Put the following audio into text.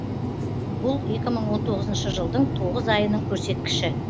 бұл екі мың он тоғызыншы жылдың тоғыз айының көрсеткіші